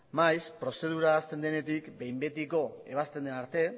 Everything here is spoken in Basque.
maiz prozedura hasten denetik behin betiko ebazten den arte